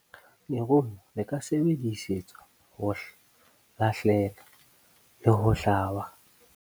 Lerumo le ka sebedisetswa ho lahlela le ho hlaba.